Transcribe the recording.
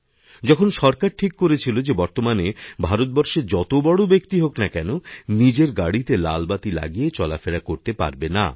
যখন সরকার ঠিক করেছিলযে বর্তমানে ভারতবর্ষে যত বড় ব্যক্তি হোক না কেন নিজের গাড়িতে লাল বাতি লাগিয়েচলাফেরা করতে পারবে না